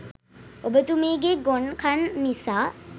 ඔබතුමීගෙ ගොන් කන් නිසා